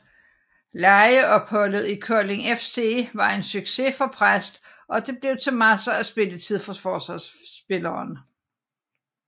Lejeopholdet i Kolding FC var en succes for Præst og det blev til masser af spilletid for forsvarsspilleren